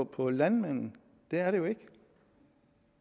på landmanden det er det jo ikke